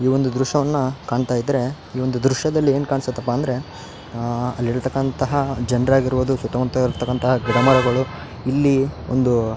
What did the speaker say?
ಈ ಒಂದು ದ್ರಶ್ಯವನ್ನ ಕಾಣ್ತಾ ಇದ್ರೆ ಈ ಒಂದು ದ್ರಶ್ಯದಲ್ಲಿ ಏನ್ ಕಾಣ್ಸತಪ್ಪ ಅಂದ್ರೆ ಅಹ್ ಅಲ್ಲಿ ಇರ್ತಕಂತ ಜನ್ರಾಗಿರ್ಬೋದು ಸುತ್ತಮುತ್ತ ಇರ್ತಕಂತ ಗಿಡಮರಗಳು ಇಲ್ಲಿ ಒಂದು --